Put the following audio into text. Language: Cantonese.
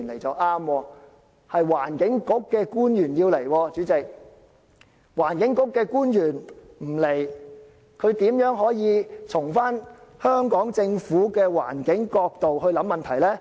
主席，環境局的官員不出席，它又如何可以從香港政府的環境角度思考問題呢？